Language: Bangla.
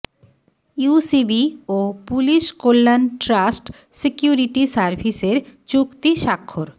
ইউসিবি ও পুলিশ কল্যাণ ট্রাস্ট সিকিউরিটি সার্ভিসের চুক্তি স্বাক্ষর